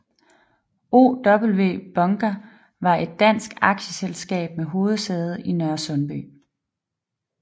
OW Bunker var et dansk aktieselskab med hovedsæde i Nørresundby